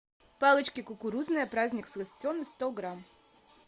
палочки кукурузные праздник сластены сто грамм